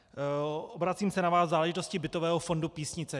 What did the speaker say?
Obracím se na vás v záležitosti bytového fondu Písnice.